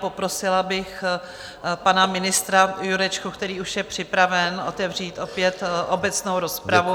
Poprosila bych pana ministra Jurečku, který už je připraven otevřít opět obecnou rozpravu.